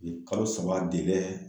Kalo saba